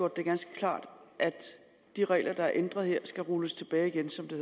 det ganske klart at de regler der er ændret her skal rulles tilbage igen som det